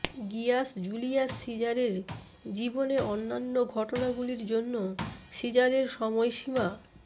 Gias Julius সিজারের জীবনে অন্যান্য ঘটনাগুলির জন্য সিজারের সময়সীমা